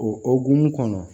O okumu kɔnɔ